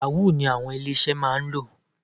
Yahoo ni àwọn ilé-iṣẹ́ máa ń lò.